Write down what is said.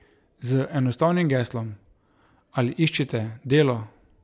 Z enostavnim geslom: 'Ali iščete delo?